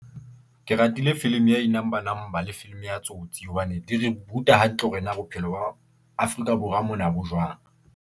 Ke ratile film ya inumber number le film ya Tsotsi hobane di re ruta hantle hore na bophelo ba Afrika- Borwa mona bo jwang.